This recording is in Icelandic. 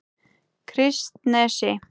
Kristnesi